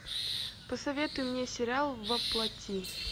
посоветуй мне сериал во плоти